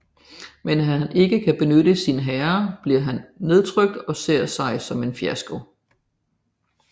Men da han ikke kan beskytte sin herre bliver han nedtrykt og ser sig som en fiasko